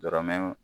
Dɔrɔmɛ